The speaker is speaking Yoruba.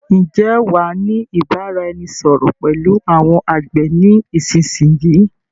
Ǹ jẹ́ wàá ni ìbáraẹnisọọ̀rọ̀ pẹ̀lú àwọn àgbẹ̀ ni ìsinsìnyí?